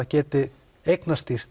geti